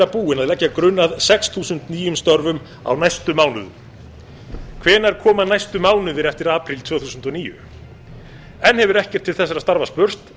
að leggja grunn að sex þúsund nýjum störfum á næstu mánuðum hvenær koma næstu mánuðir eftir apríl tvö þúsund og níu enn hefur ekkert til þessara starfa spurst